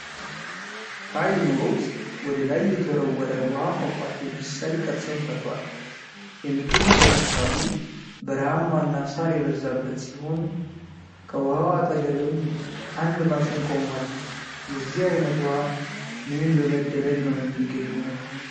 ሃይል ኖሮት ወደላይ የተወረወረ ዉሃ ፏፏቴ መሰል ቅርጽን ፈጥሯል። የሚገኝበት አካባቢ በረሃማ እና ሳር የበዛበት ሲሆን ከዉሃው አጠገብም አንድ ማሽን ቆሟል። የዚህ አይነት ዉሃ ምን በመደረግ ነው የሚገኘው?